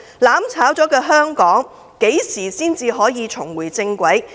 "攬炒"後的香港，何時才可重回正軌？